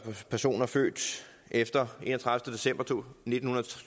personer født efter den enogtredivete december nitten